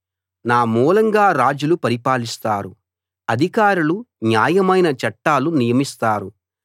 నా మూలంగా రాజులు పరిపాలిస్తారు అధికారులు న్యాయమైన చట్టాలు నియమిస్తారు